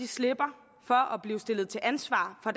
slipper for at blive stillet til ansvar for